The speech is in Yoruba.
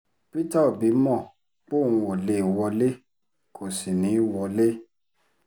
peter obi mọ̀ póun ó lè wọlé kó sì ní í wọlé